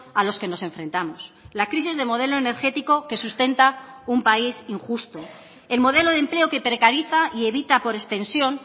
a los que nos enfrentamos la crisis de modelo energético que sustenta un país injusto el modelo de empleo que precariza y evita por extensión